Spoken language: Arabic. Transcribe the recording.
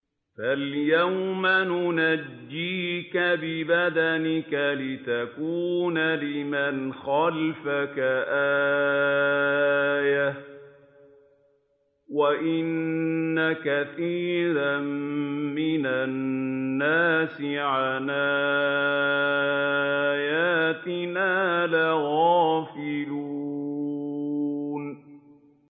فَالْيَوْمَ نُنَجِّيكَ بِبَدَنِكَ لِتَكُونَ لِمَنْ خَلْفَكَ آيَةً ۚ وَإِنَّ كَثِيرًا مِّنَ النَّاسِ عَنْ آيَاتِنَا لَغَافِلُونَ